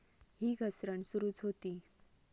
ही घसरण सुरूच होती.